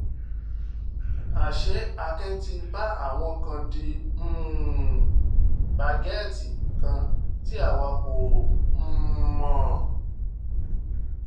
àṣé akin ti bá àwọn kan di um bágẹ́ẹ̀tì kan tí àwa kò um mọ̀